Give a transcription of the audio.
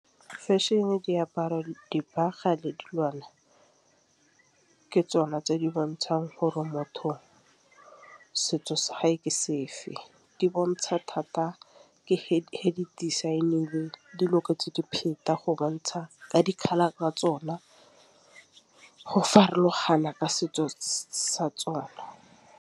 Fashion-e, diaparo, dibaga le ke tsona tse di bontšhang gore motho setso sa hae ke sefe. Di bontsha thata design-ilwe tse go bontšha ka dikgaba tsa tsona go farologana ka setso sa tsona.